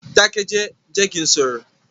Dákẹ́jẹ̀, jẹ́ kí n sọ̀rọ̀!